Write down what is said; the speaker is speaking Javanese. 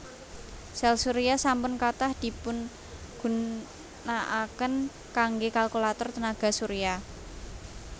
Sèl surya sampun kathah dipungunakaken kanggé kalkulator tenaga surya